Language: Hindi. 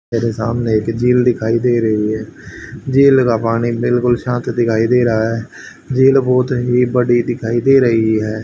सामने एक झील दिखाई दे रही है झील लगा पानी बिल्कुल साफ दिखाई दे रहा है झील बहोत ही बड़ी दिखाई दे रही है।